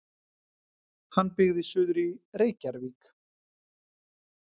Hann byggði suður í Reykjarvík.